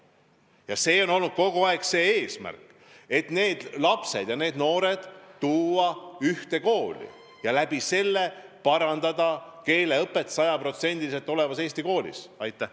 Ja kogu aeg on olnud eesmärk, et need lapsed, need noored panna õppima ühes koolis ja selle abil parandada keeleõpet, et jõuda sajaprotsendiliselt eesti keeles õpetamiseni.